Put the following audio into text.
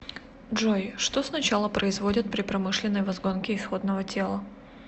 джой что сначала производят при промышленной возгонке исходного тела